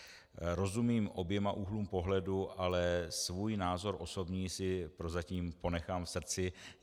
Rozumím oběma úhlům pohledu, ale svůj názor osobní si prozatím ponechám v srdci.